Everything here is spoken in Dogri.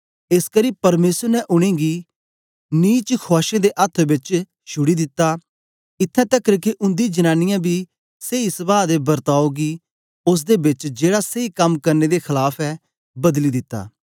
एसकरी परमेसर ने उनेंगी नीच खुआशें दे अथ्थ बेच छुड़ी दित्ता इत्थैं तकर के उन्दी जनांनीयें बी सेई सभाह दे वर्ताओ गी ओसदे बेच जेड़ा सेई कम करने दे खलाफ ऐ बदली दित्ता